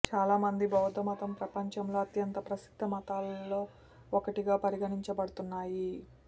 చాలామంది బౌద్ధ మతం ప్రపంచంలో అత్యంత ప్రసిద్ధ మతాలలో ఒకటిగా పరిగణించబడుతున్నాయి